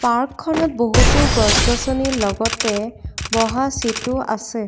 Park খনত বহুতো গছ-গছনিৰ লগতে বহা চিট ও আছে।